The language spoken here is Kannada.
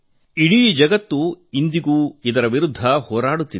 ಇಡೀ ಜಗತ್ತು ಇನ್ನೂ ಸೆಣೆಸುತ್ತಿದೆ